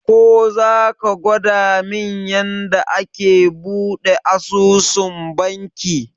Ko zaka gwadamin yanda ake buɗe asusun banki?